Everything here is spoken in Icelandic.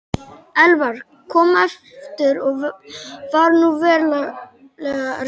Elvar kom aftur og var nú verulega reiður.